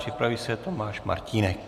Připraví se Tomáš Martínek.